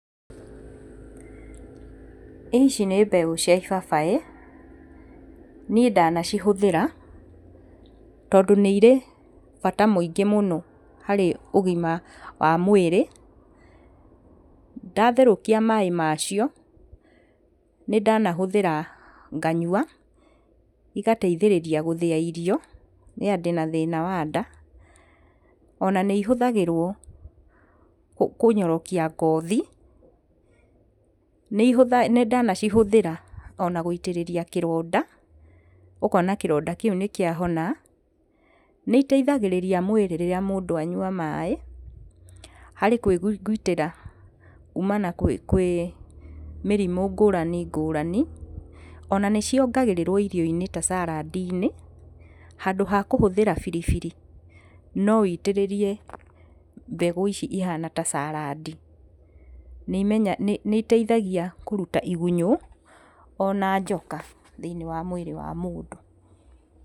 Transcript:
Ici nĩ mbegũ cia ibabaĩ. Niĩ ndanacihũthĩra tondũ nĩ irĩ bata mũingĩ mũno harĩ ũgima wa mwĩrĩ. Ndatherũkia maĩ macio nĩ ndanahũthĩra nganyua igateithĩrĩria gũthĩa irio rĩrĩa ndĩna thĩna wa nda. Ona nĩ ihũthagĩrwo kũnyorokia ngothi. Nĩ ndanacihũthĩra gwĩitĩrĩria kĩronda ũkona kĩronda kĩu nĩ kĩa hona, nĩ iteithagĩrĩragia mũndũ rĩrĩa mũndũ anyua maĩ harĩ kũigitĩra kumana kwĩ mĩrimũ ngũrani ngũrani, ona nĩciongagĩrĩragwo irio-inĩ ta salad -inĩ handũ hakũhũthĩra biribiri no wĩitĩrĩrie mbegũ ici ihana ta salad. Niĩ iteithagia kũruta igunyũ ona njoka thĩinĩ wa mwĩrĩ wa mũndũ.